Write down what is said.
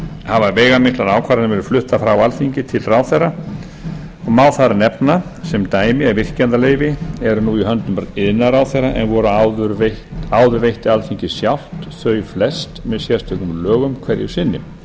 hafa veigamiklar ákvarðanir verið fluttar frá alþingi til ráðherra og má þar nefna sem dæmi ef virkjanaleyfi eru nú í höndum iðnaðarráðherra en áður veitti alþingi sjálft þau flest með sérstökum lögum hverju sinni